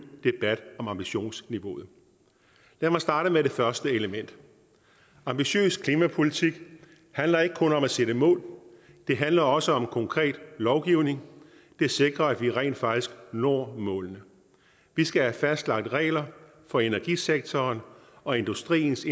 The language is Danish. debat om ambitionsniveauet lad mig starte med det første element ambitiøs klimapolitik handler ikke kun om at sætte mål det handler også om konkret lovgivning der sikrer at vi rent faktisk når målene vi skal have fastlagt regler for energisektoren og industriens